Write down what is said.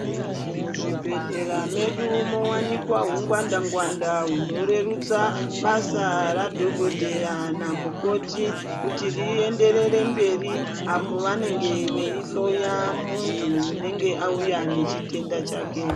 Muzvibhedhlera mwedu mowanikwa hungwanda ngwanda hunorerutsa basa radhokodheya namukoti kuti rienderere mberi apo pavanenge veihloya muntu unenge auya nechitenda chake.